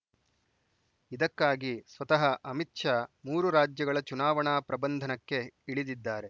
ಇದಕ್ಕಾಗಿ ಸ್ವತಃ ಅಮಿತ್‌ ಶಾ ಮೂರು ರಾಜ್ಯಗಳ ಚುನಾವಣಾ ಪ್ರಬಂಧನಕ್ಕೆ ಇಳಿದಿದ್ದಾರೆ